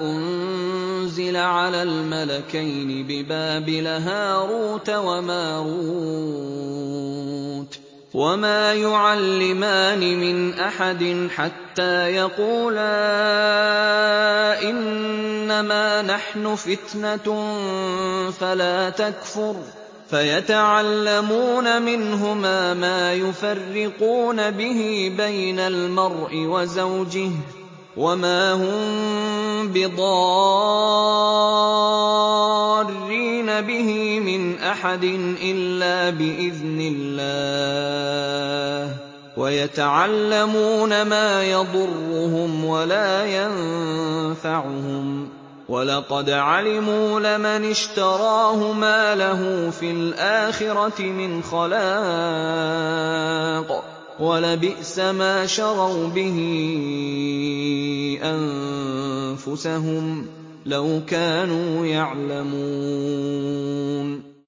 أُنزِلَ عَلَى الْمَلَكَيْنِ بِبَابِلَ هَارُوتَ وَمَارُوتَ ۚ وَمَا يُعَلِّمَانِ مِنْ أَحَدٍ حَتَّىٰ يَقُولَا إِنَّمَا نَحْنُ فِتْنَةٌ فَلَا تَكْفُرْ ۖ فَيَتَعَلَّمُونَ مِنْهُمَا مَا يُفَرِّقُونَ بِهِ بَيْنَ الْمَرْءِ وَزَوْجِهِ ۚ وَمَا هُم بِضَارِّينَ بِهِ مِنْ أَحَدٍ إِلَّا بِإِذْنِ اللَّهِ ۚ وَيَتَعَلَّمُونَ مَا يَضُرُّهُمْ وَلَا يَنفَعُهُمْ ۚ وَلَقَدْ عَلِمُوا لَمَنِ اشْتَرَاهُ مَا لَهُ فِي الْآخِرَةِ مِنْ خَلَاقٍ ۚ وَلَبِئْسَ مَا شَرَوْا بِهِ أَنفُسَهُمْ ۚ لَوْ كَانُوا يَعْلَمُونَ